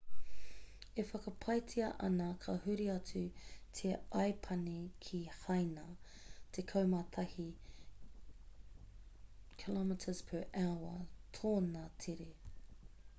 e whakapaetia ana ka huri atu te aipani ki haina tekau mā tahi kph tōna tere